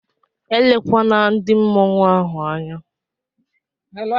Elekwala ndị mmọnwu ahụ anya!